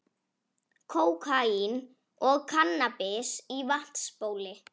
Kókaín og kannabis í vatnsbóli